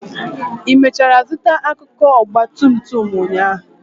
ị mechara zụta akụkụ ọgba tum tum ụnyaahụ?